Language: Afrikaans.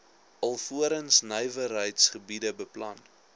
alvorens nywerheidsgebiede beplan